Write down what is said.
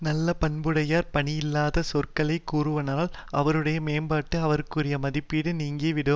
நல்ல பண்புடையவர் பயனில்லாத சொற்களை கூறுவாரானால் அவருடைய மேம்பாடு அவர்க்குரிய மதிப்போடு நீங்கி விடும்